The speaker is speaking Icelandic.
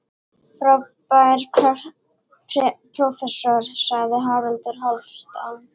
Frábær prófessor, sagði Haraldur Hálfdán.